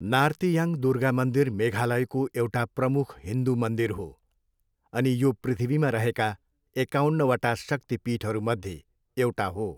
नार्तियाङ्ग दुर्गा मन्दिर मेघालयको एउटा प्रमुख हिन्दू मन्दिर हो अनि यो पृथ्वीमा रहेका एकाउन्नवटा शक्ति पीठहरूमध्ये एउटा हो।